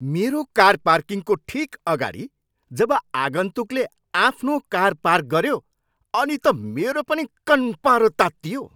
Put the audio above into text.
मेरो कार पार्किङको ठिक अगाडि जब आगन्तुकले आफ्नो कार पार्क गऱ्यो अनि त मेरो पनि कन्पारो तात्तियो।